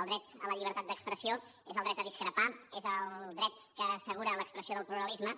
el dret a la llibertat d’expressió és el dret a discrepar és el dret que assegura l’expressió del pluralisme